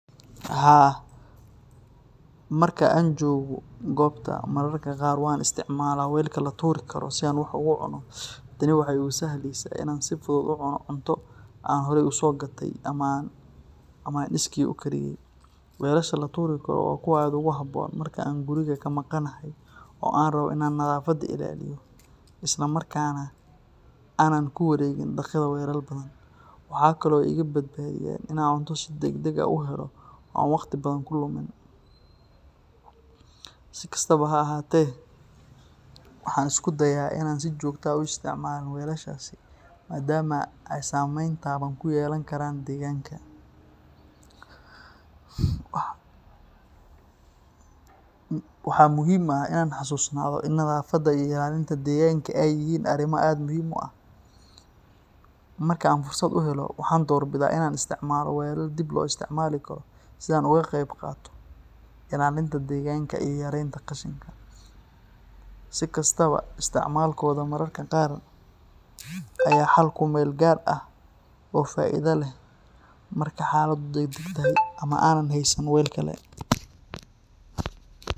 Haa, marka aan joogo goobta, mararka qaar waan isticmaalaa weelka la tuuri karo si aan wax ugu cuno. Tani waxay igu sahlaysaa in aan si fudud u cuno cunto aan horay u soo gatay ama aan iskii u kariyay. Weelasha la tuuri karo waa kuwo aad ugu habboon marka aan guriga ka maqanahay oo aan rabbo in aan nadaafadda ilaaliyo isla markaana aanan ku wareegin dhaqida weelal badan. Waxa kale oo ay iga badbaadiyaan in aan cunto si degdeg ah u helo oo aan waqti badan ku lumin. Si kastaba ha ahaatee, waxaan isku dayaa in aanan si joogto ah u isticmaalin weelashaasi, maadaama ay saameyn taban ku yeelan karaan deegaanka. Waxa muhiim ah in aan xasuusnaado in nadaafadda iyo ilaalinta deegaanka ay yihiin arrimo aad muhiim u ah. Marka aan fursad u helo, waxaan doorbidaa in aan isticmaalo weel dib loo isticmaali karo si aan uga qeybqaato ilaalinta deegaanka iyo yareynta qashinka. Si kastaba, isticmaalkooda mararka qaar ayaa ah xal ku-meel-gaar ah oo faa’iido leh marka xaaladdu degdeg tahay ama aanan haysan weel kale.